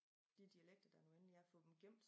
De dialekter der nu endelig er få dem gemt